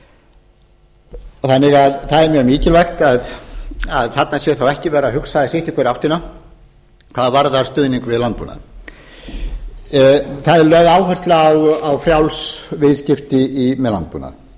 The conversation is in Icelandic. landbúnaði það er því mjög mikilvægt að þarna sé þá ekki verið að hugsa sitt í hvora áttina hvað varðar stuðning við landbúnaðinn það er lögð áhersla á frjáls viðskipti með landbúnað